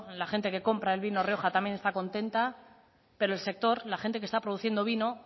la gente que compra el vino rioja también está contenta pero el sector la gente que está produciendo vino